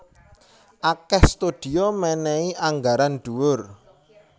Akèh studio mènèhi anggaran dhuwur